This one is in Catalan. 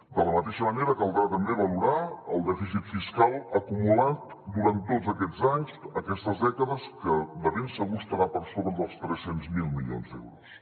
de la mateixa manera caldrà també valorar el dèficit fiscal acumulat durant tots aquests anys aquestes dècades que de ben segur estarà per sobre dels tres cents miler milions d’euros